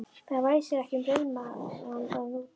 Það væsir ekki um rauðmagann þarna úti!